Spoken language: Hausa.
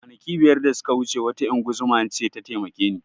Kwanaki biyar da suka wuce wata ingozuma ce ta taimake ni